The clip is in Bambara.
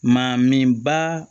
Maa min ba